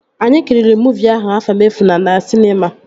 Anyị kiriri muuvi ahụ, Afamefuna na sịnema